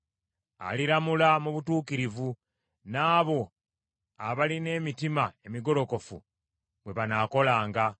Aliramula mu butuukirivu, n’abo abalina emitima emigolokofu bwe banaakolanga.